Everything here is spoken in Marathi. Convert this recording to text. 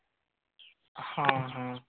हा हा.